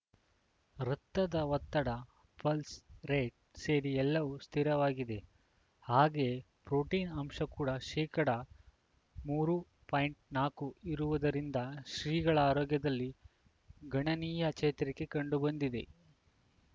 ರಕ್ತದ ಒತ್ತಡ pulse rate ಸೇರಿ ಎಲ್ಲವೂ ಸ್ಥಿರವಾಗಿದೆ ಹಾಗೆಯೇ ಪ್ರೊಟೀನ್‌ ಅಂಶ ಕೂಡ ಶೇಕಡಾ ಮೂರು ಪಾಯಿಂಟ್ ನಾಕು ಇರುವುದರಿಂದ ಶ್ರೀಗಳ ಆರೋಗ್ಯದಲ್ಲಿ ಗಣನೀಯ ಚೇತರಿಕೆ ಕಂಡು ಬಂದಿದೆ